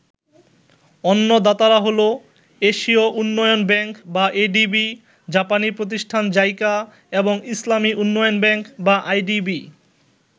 অন্য দাতারা হলো, এশিয় উন্নয়ন ব্যাংক বা এডিবি, জাপানি প্রতিষ্ঠান জাইকা এবং ইসলামী উন্নয়ন ব্যাংক বা আইডিবি।